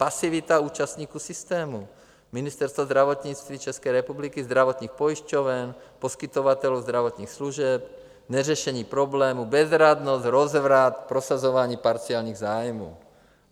Pasivita účastníků systému - Ministerstvo zdravotnictví České republiky, zdravotních pojišťoven, poskytovatelů zdravotních služeb, neřešení problémů, bezradnost, rozvrat, prosazování parciálních zájmů.